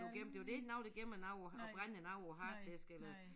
Bliver gemt det jo der jo ikke nogen der gemmer noget og brænder noget på æ harddisk eller